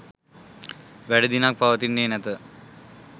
වැඩි දිනක් පවතින්නේ නැත.